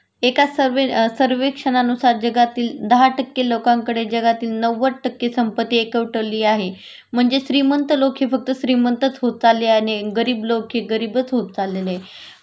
एका सर्वे सर्वेक्षणानुसार जगातील दहा टक्के लोकांकडे जगातील नव्वद टक्के संपत्ती एकवटली आहे म्हणजे श्रीमंत लोक हे फक्त श्रीमंतच होत चालले आहेत आणि गरीब लोक हे गरीबच होत चाललेले आहेत